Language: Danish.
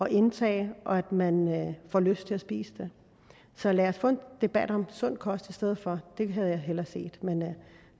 at indtage og at man får lyst til at spise det så lad os få en debat om sund kost i stedet for det havde jeg hellere set